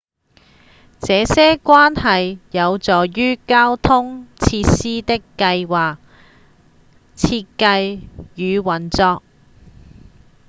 這些關係有助於交通設施的計畫、設計與運作